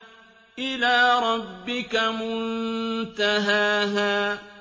إِلَىٰ رَبِّكَ مُنتَهَاهَا